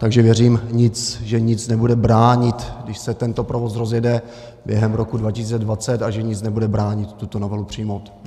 Takže věřím, že nic nebude bránit, když se tento provoz rozjede během roku 2020, a že nic nebude bránit tuto novelu přijmout.